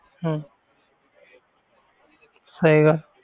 ਹਮ ਸਹੀ ਗ~